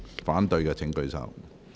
反對的請舉手。